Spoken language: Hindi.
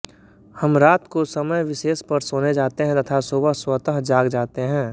हम रात को समय विशेष पर सोने जाते हैं तथा सुबह स्वतः जाग जाते हैं